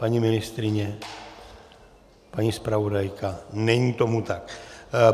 Paní ministryně, paní zpravodajka - není tomu tak.